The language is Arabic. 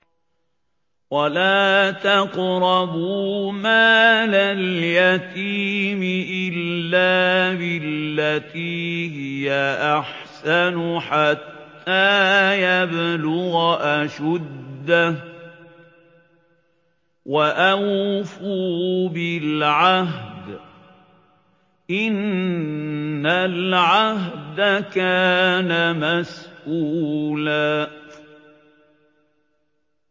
وَلَا تَقْرَبُوا مَالَ الْيَتِيمِ إِلَّا بِالَّتِي هِيَ أَحْسَنُ حَتَّىٰ يَبْلُغَ أَشُدَّهُ ۚ وَأَوْفُوا بِالْعَهْدِ ۖ إِنَّ الْعَهْدَ كَانَ مَسْئُولًا